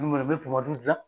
w dila